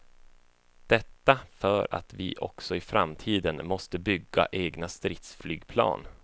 Detta för att vi också i framtiden måste bygga egna stridsflygplan.